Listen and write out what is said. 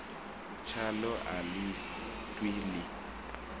tshaḽo a ḽi ṱwi ḽi